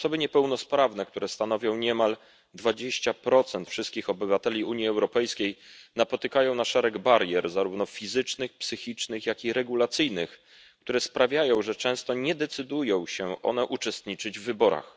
Osoby niepełnosprawne, które stanowią niemal 20 wszystkich obywateli Unii Europejskiej, napotykają szereg barier, zarówno fizycznych, psychicznych, jak i regulacyjnych, które sprawiają, że często nie decydują się one uczestniczyć w wyborach.